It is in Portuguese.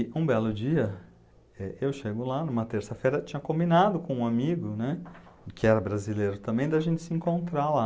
E um belo dia, é eu chego lá, numa terça-feira, tinha combinado com um amigo, né, que era brasileiro também, da gente se encontrar lá.